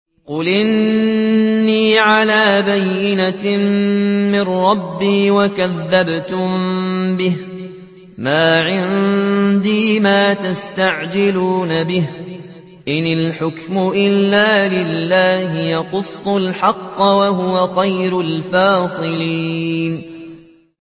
قُلْ إِنِّي عَلَىٰ بَيِّنَةٍ مِّن رَّبِّي وَكَذَّبْتُم بِهِ ۚ مَا عِندِي مَا تَسْتَعْجِلُونَ بِهِ ۚ إِنِ الْحُكْمُ إِلَّا لِلَّهِ ۖ يَقُصُّ الْحَقَّ ۖ وَهُوَ خَيْرُ الْفَاصِلِينَ